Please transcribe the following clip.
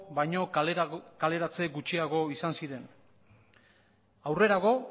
baino kaleratze gutxiago izan ziren aurrerago